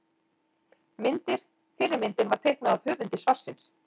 Myndir: Fyrri myndin var teiknuð af höfundi svarsins.